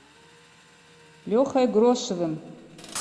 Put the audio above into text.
лехой грошевым